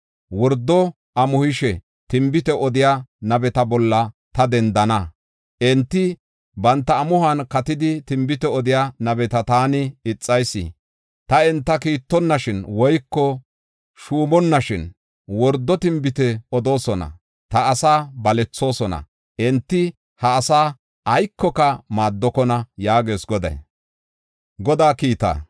Wordo amuhishe tinbite odiya nabeta bolla ta dendana. Enti banta amuhuwan katidi tinbite odiya nabeta taani ixayis. Ta enta kiittonnashin woyko shuumonnashin wordo tinbite odoosona; ta asaa balethoosona. Enti ha asaa aykoka maaddokona” yaagees Goday.